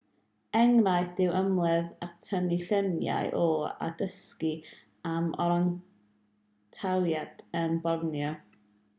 enghraifft yw ymweld ag tynnu lluniau o a dysgu am orangwtangiaid yn borneo